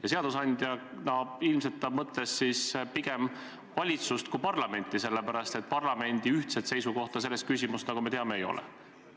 " Ja seadusandja all mõtles ta ilmselt pigem valitsust kui parlamenti, sellepärast et parlamendil ühtset seisukohta selles küsimuses, nagu me teame, ei ole.